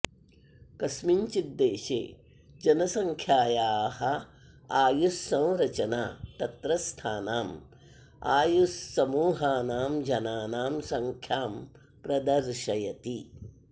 कस्मिंश्चित् देशे जनसङ्ख्यायाः आयुस्संरचना तत्रस्थानाम् आयुस्समूहानां जनानां सङ्ख्यां प्रदर्शयति